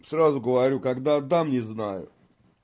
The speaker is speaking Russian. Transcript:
сразу говорю когда отдам не знаю